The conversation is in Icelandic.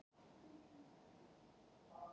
Er þetta nú rétt?